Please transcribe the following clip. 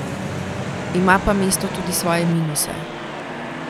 Ima pa mesto tudi svoje minuse.